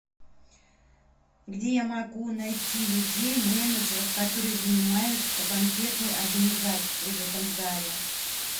где я могу найти людей менеджеров которые занимаются банкетной организацией в этом зале